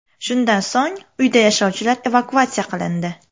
Shundan so‘ng uyda yashovchilar evakuatsiya qilindi.